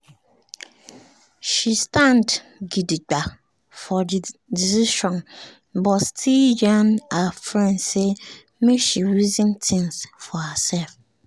she stand gidigba for the decision but still yarn her friend say make she reason things for herself